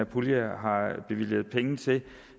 pulje har bevilget penge til